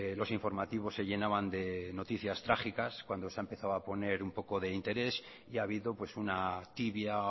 los informativos se llenaban de noticias trágicas cuando se ha empezada o poner un poco de interés y ha habido una tibia